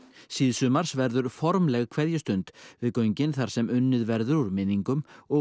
síðsumars verður formleg kveðjustund við göngin þar sem unnið verður úr minningum og